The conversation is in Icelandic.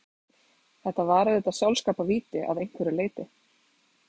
Þetta var auðvitað sjálfskaparvíti að einhverju leyti.